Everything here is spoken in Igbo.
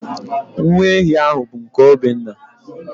Nwa ehi ahụ bụ nke Obinna